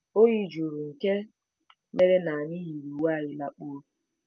Oyi juru nke mere na anyị yiri uwe anyị lakpuo.